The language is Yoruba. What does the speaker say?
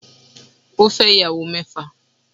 Ó fẹ́ ìyàwó mẹ́fà